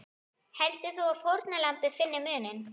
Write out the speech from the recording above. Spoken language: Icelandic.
Heldur þú að fórnarlambið finni muninn?